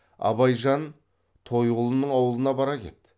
абайжан тойғұлының аулына бара кет